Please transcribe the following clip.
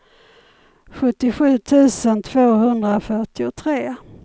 sjuttiosju tusen tvåhundrafyrtiotre